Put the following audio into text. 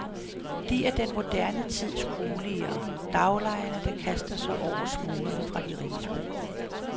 De er den moderne tids kulier, daglejerne, der kaster sig over smulerne fra de riges bord.